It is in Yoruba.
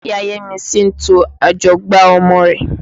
Ìya Yẹ́misí ń to ajọgbá ọmọ rẹ̀.